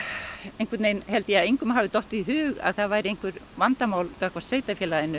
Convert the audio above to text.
einhvern veginn held ég að engum hefði dottið í hug að það væri vandamál gagnvart sveitarfélaginu